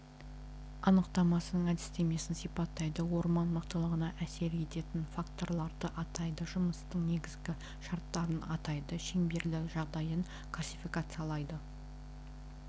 анықтамасының әдістемесін сипаттайды орман мықтылығына әсер ететін факторларды атайды жұмыстың негізгі шарттарын атайды шеңберлі жағдайын классификациялайды